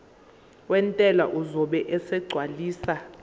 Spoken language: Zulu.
wentela uzobe esegcwalisa